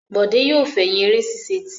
Bọ̀dé yóò fẹ̀yìn eré ṣíṣe tì.